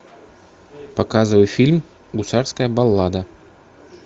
показывай фильм гусарская баллада